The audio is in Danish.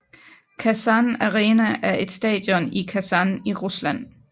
Kasan Arena er et stadion i Kasan i Rusland